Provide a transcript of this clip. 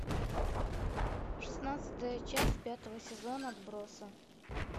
шестнадцатая часть пятого сезона отбросы